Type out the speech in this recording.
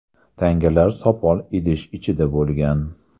Tangalar sopol idish ichida bo‘lgan.